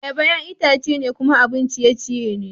Ayaba, ƴa'ƴan itace ne kuma abun ciye-ciye ne.